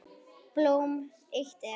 Blóm eitt er.